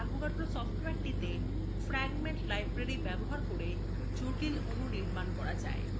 avogadro সফটওয়্যারটিতে fragment library ব্যবহার করে জটিল অণু নির্মাণের একটি বৈশিষ্ট্য রয়েছে